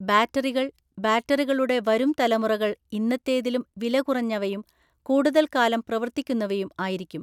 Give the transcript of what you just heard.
ബാറ്ററികൾ, ബാറ്ററികളുടെ വരുംതലമുറകൾ ഇന്നത്തേതിലും വിലകുറഞ്ഞവയും കൂടുതൽ കാലം പ്രവർത്തിക്കുന്നവയും ആയിരിക്കും.